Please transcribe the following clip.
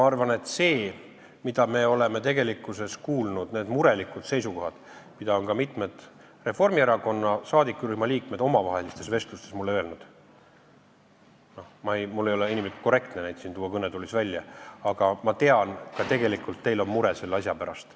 Selle põhjal, mida me oleme kuulnud, nende murelike seisukohtade põhjal, mida on ka mitmed Reformierakonna saadikurühma liikmed omavahelistes vestlustes mulle väljendanud – mul ei ole inimlikult korrektne neid siin kõnetoolis välja tuua –, ma tean, et tegelikult ka teil on mure selle asja pärast.